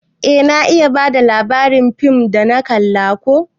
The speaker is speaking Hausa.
Eh na iya bada labarin fim dana kalla ko.